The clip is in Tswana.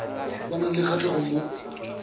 ba nang le kgatlhego mo